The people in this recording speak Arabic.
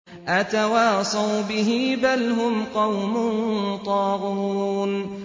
أَتَوَاصَوْا بِهِ ۚ بَلْ هُمْ قَوْمٌ طَاغُونَ